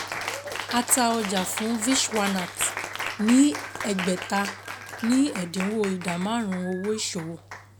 A ta ọjà fún Vishwanath ní ẹgbẹ̀ta ní ẹ̀dínwó ìdá márùn-ún owó ìṣòwò.